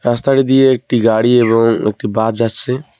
রাস্তাটা দিয়ে একটি গাড়ি এবং একটি বাজ যাচ্ছে।